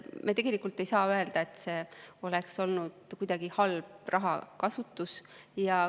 Me ei saa öelda, et see oleks olnud kuidagi halb rahakasutus.